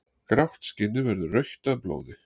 Grátt skinnið verður rautt af blóði.